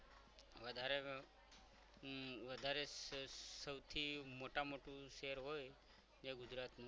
વધારે વધારે સૌથી મોટામાં મોટું શહેર હોય એ ગુજરાતનું